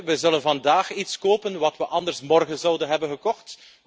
We zullen vandaag iets kopen wat we anders morgen zouden hebben gekocht.